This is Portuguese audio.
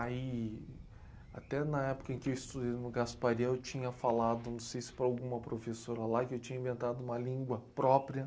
Aí, até na época em que eu estudei no Gasparian, eu tinha falado, não sei se para alguma professora lá, que eu tinha inventado uma língua própria.